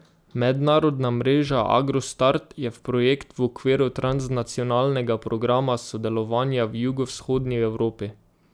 Mednarodna mreža Agro Start je projekt v okviru Transnacionalnega programa sodelovanja v jugovzhodni Evropi.